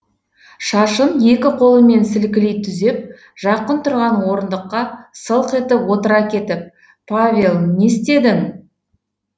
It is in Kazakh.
шашын екі қолымен сілкілей түзеп жақын тұрған орындыққа сылқ етіп отыра кетіп павел не істедің